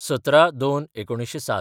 १७/०२/१९०७